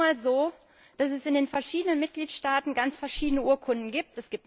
Es ist nun einmal so, dass es in den verschiedenen Mitgliedstaaten ganz verschiedene Urkunden gibt.